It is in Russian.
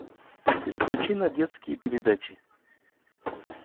переключи на детские передачи